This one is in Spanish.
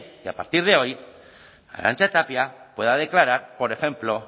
y a partir de hoy arantxa tapia pueda declarar por ejemplo